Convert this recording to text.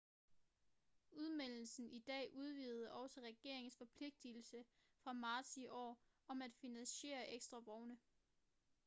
udmeldelsen i dag udvidede også regeringens forpligtelse fra marts i år om at finansiere ekstra vogne